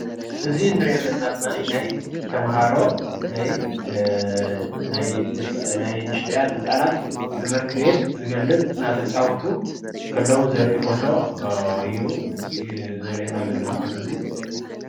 እዚ እንሪኦ ዘለና ድማ ናይ ተምሃሮ ናይ ንእሽተያት ህፃናት ትምህርቲ ቤት ዝገልፅ እናተጫወቱ ከለው ዘርኢ ፎቶ እዩ ዘርእየና ዘሎ ዝፎቶ እዚ፡፡